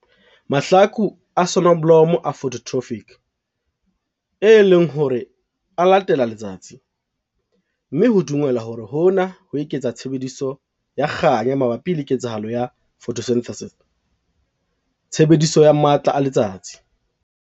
Mahlaku a soneblomo a phototropic, e leng hore a latela letsatsi, mme ho dumelwa hore hona ho eketsa tshebediso ya kganya mabapi le ketsahalo ya photosynthesis tshebediso ya matla a letsatsi.